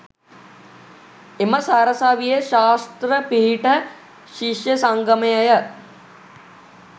එම සරසවියේ ශාස්ත්‍ර පීඨ ශිෂ්‍ය සංගමයය